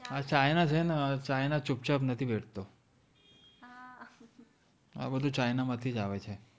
આ china છે ને ચૂપ છાપ નથી બેઠતો આ બધું china માંથીજ આવે છે